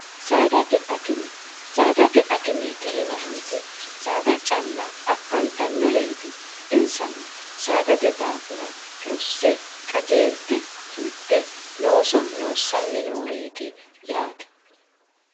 saadate akime saadate akimeeti yinanniti saada calla akkantannoreeti insano saadate daafira rosse qajeelte sulte looso loossanni nooreeti yaate